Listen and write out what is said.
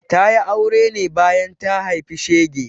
Ta yi aure ne bayan ta haifi shege.